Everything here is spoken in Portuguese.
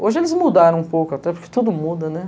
Hoje eles mudaram um pouco, até porque tudo muda, né?